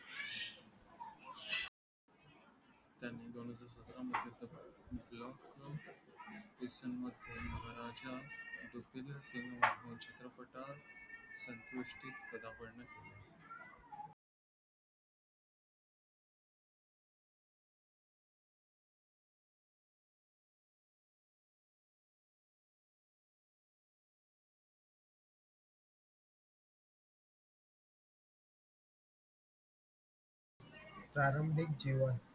प्रारंभिक जीवन